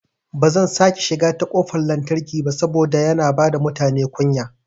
Bazan sake shiga ta kofar lantarki ba saboda yana bada mutane kunya